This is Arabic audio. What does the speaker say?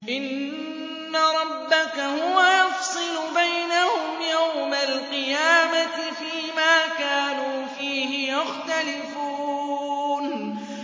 إِنَّ رَبَّكَ هُوَ يَفْصِلُ بَيْنَهُمْ يَوْمَ الْقِيَامَةِ فِيمَا كَانُوا فِيهِ يَخْتَلِفُونَ